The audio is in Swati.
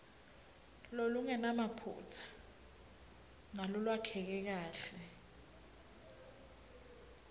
lolungenamaphutsa nalolwakheke kahle